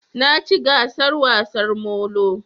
Na ci gasar wasar molo